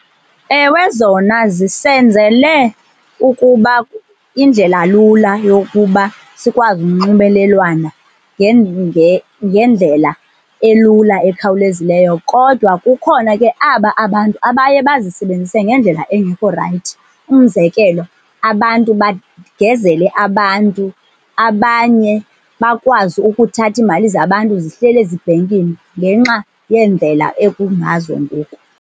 Ewe, zona zisenzele ukuba indlela lula yokuba sikwazi unxibelelwano ngendlela elula ekhawulezileyo, kodwa kukhona ke aba abantu abaye bazisebenzise ngendlela engekhorayithi. Umzekelo, abantu bagezele abantu, abanye bakwazi ukuthatha iimali zabantu zihleli ezibhenkini ngenxa yeendlela ekungazo ngoku.